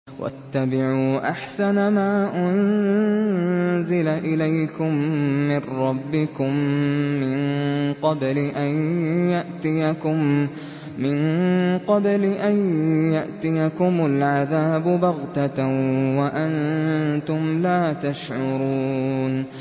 وَاتَّبِعُوا أَحْسَنَ مَا أُنزِلَ إِلَيْكُم مِّن رَّبِّكُم مِّن قَبْلِ أَن يَأْتِيَكُمُ الْعَذَابُ بَغْتَةً وَأَنتُمْ لَا تَشْعُرُونَ